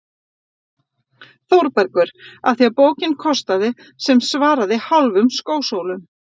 ÞÓRBERGUR: Af því bókin kostaði sem svaraði hálfum skósólum.